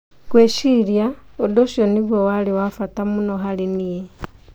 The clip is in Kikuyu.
Ngwĩciria ũndũ ũcio nĩguo warĩ wa bata mũno harĩ niĩ.